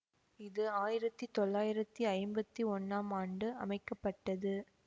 இது ஆயிரத்தி தொள்ளயிறத்தி ஐம்பத்தி ஒன்னாம் ஆண்டு அமைக்க பட்டது